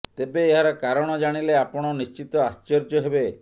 ତେବେ ଏହାର କାରଣ ଜାଣିଲେ ଆପଣ ନିଶ୍ଚିତ ଆଶ୍ଚର୍ଯ୍ୟ ହେବେ